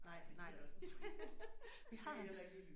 Nej nej vi har